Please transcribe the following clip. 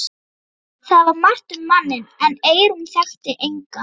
Það var margt um manninn en Eyrún þekkti engan.